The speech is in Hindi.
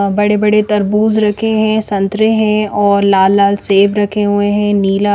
अ बड़े-बड़े तरबूज़ रखे है संतरे है और लाल-लाल सेब रखे हुए है नीला --